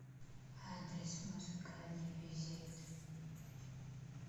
адрес музыкальный визит